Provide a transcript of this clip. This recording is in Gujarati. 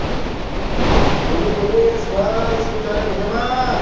બોલો બોલો યસભાઈ શું ચાલે મજામાં?